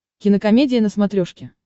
кинокомедия на смотрешке